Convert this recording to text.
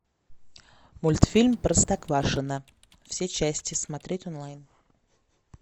мультфильм простоквашино все части смотреть онлайн